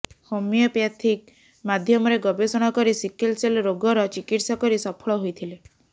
homeopathic ମାଧ୍ୟମରେ ଗବେଷଣା କରି ସିକଲସେଲ ରୋଗର ଚିକିତ୍ସା କରି ସଫଳ ହୋଇଥିଲେ